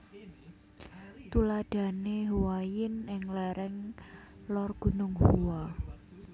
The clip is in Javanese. Tuladhane Huayin ing lereng Lor Gunung Hua